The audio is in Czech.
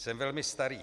Jsem velmi starý.